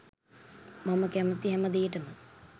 මම කැමති හැමදේටම